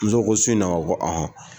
Muso ko su in na wa? Ko aɔn.